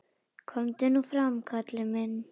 Komdu nú fram, Kalli minn!